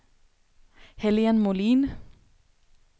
Helene Molin